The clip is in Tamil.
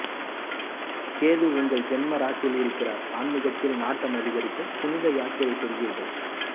கேது உங்கள் ஜென்ம ராசியில் இருக்கிறார் ஆன்மீகத்தில் நாட்டம் அதிகரிக்கும் புனித யாத்திரை செல்வீர்கள்